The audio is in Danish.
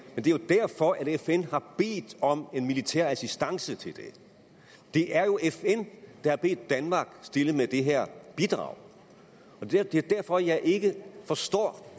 er jo derfor fn har bedt om militær assistance til det det er jo fn der har bedt danmark stille med det her bidrag og det det er derfor jeg ikke forstår